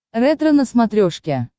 ретро на смотрешке